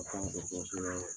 O f'an ka dɔgɔtɔrɔso la